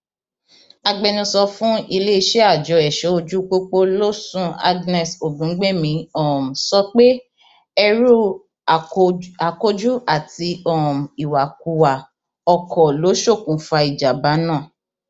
agbẹnusọ fún iléeṣẹ àjọ ẹṣọojúpọpọ lòsùn agnès ògúngbẹmí um sọ pé ẹrú akoj akójú àti um ìwàkuwà ọkọ ló ṣokùnfà ìjàḿbà náà